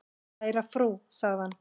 """Kæra frú, sagði hann."""